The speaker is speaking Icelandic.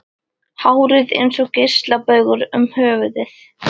Hárið eins og geislabaugur um höfuðið.